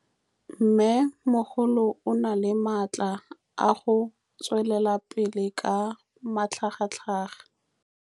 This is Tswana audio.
Mmêmogolo o na le matla a go tswelela pele ka matlhagatlhaga.